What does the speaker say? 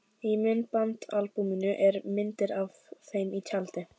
Í myndaalbúminu eru myndir af þeim í tjaldi.